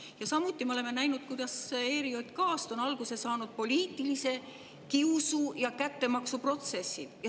Ja samuti me oleme näinud, kuidas ERJK‑st on alguse saanud poliitilise kiusu ja kättemaksu protsessid.